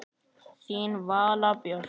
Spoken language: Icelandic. Þín Vala Björg.